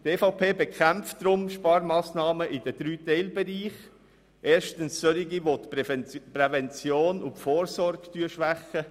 Die EVP bekämpft deshalb Sparmassnahmen in den drei Teilbereichen, die erstens die Vorsorge und Prävention schwächen.